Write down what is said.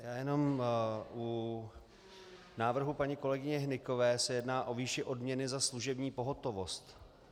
Já jenom, u návrhu paní kolegyně Hnykové se jedná o výši odměny za služební pohotovost.